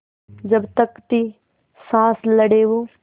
जब तक थी साँस लड़े वो